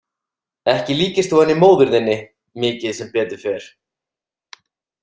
Ekki líkist þú henni móður þinni mikið sem betur fer.